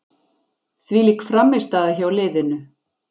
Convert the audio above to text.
Þvílík frammistaða hjá liðinu.